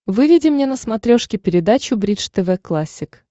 выведи мне на смотрешке передачу бридж тв классик